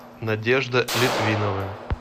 надежда литвинова